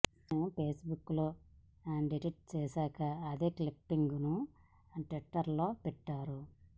దాన్ని Facebook డిటిట్ చేశాక అదే క్లిప్పింగ్ ను ట్విటర్ లో పెట్టారు